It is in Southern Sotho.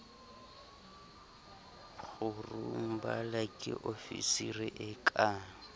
kgurumbala ke ofisiri e ka